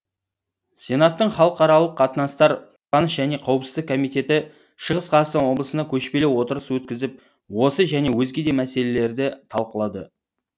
сенаттың халықаралық қатынастар қорғаныс және қауіпсіздік комитеті шығыс қазақстан облысында көшпелі отырыс өткізіп осы және өзге де мәселелерді талқылады